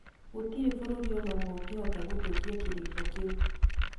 Gũtirĩ bũrũri o na ũmwe ũngĩhota gũthũkia kĩrĩĩko kĩu.